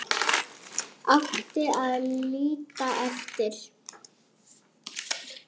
Átti að líta eftir